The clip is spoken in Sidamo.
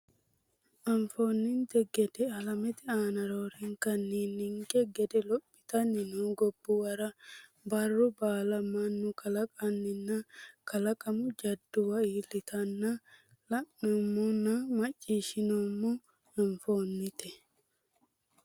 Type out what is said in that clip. Anfoonninte gede alamete aana roorenkanni ninke gede lophitanni noo gobbuwara barru baala mannu kalaqinonna kalaqamu jadduwa iillitanna la’neemmonna macciishshineemmo Anfoonninte.